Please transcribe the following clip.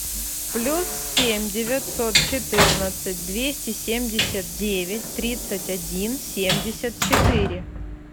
плюс семь девятьсот четырнадцать двести семьдесят девять тридцать один семьдесят четыре